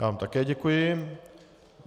Já vám také děkuji.